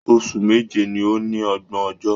Oṣù méje ní o ní ọgbọn ọjọ́.